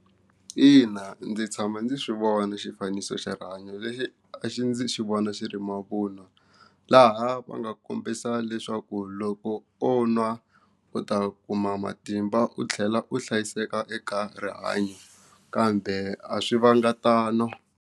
Ina, ndzi tshama ndzi swi vona xifaniso xa rihanyo lexi a xi ndzi xi vona xi ri mavunwa laha va nga kombisa leswaku loko o nwa u ta kuma matimba u tlhela u hlayiseka eka rihanyo kambe a swi vanga tano.